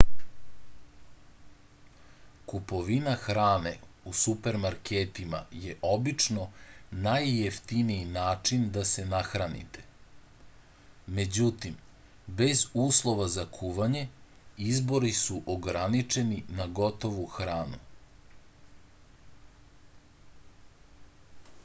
kupovina hrane u supermarketima je obično najjeftiniji način da se nahranite međutim bez uslova za kuvanje izbori su ograničeni na gotovu hranu